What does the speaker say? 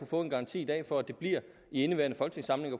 få en garanti i dag for at det bliver i indeværende folketingssamling